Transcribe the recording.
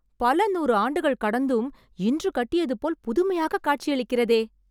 பல நூறு ஆண்டுகள் கடந்தும், இன்று கட்டியது போல் புதுமையாக காட்சியளிக்கிறதே